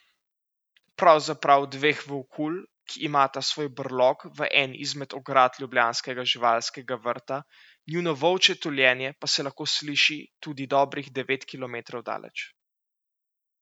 Pravzaprav dveh volkulj, ki imata svoj brlog v eni izmed ograd ljubljanskega živalskega vrta, njuno volčje tuljenje pa se lahko sliši tudi dobrih devet kilometrov daleč.